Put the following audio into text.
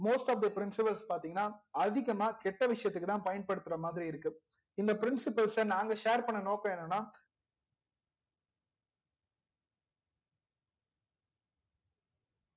most of the principles பாத்திங்கனா அதிகமா கெட்ட விசயத்துக்குதா பயன்படுத்துறா மாதிரி இருக்கு இந்த principles நாங்க share பண்ண நோக்கம் என்னனா